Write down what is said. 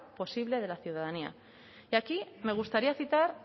posible de la ciudadanía y aquí me gustaría citar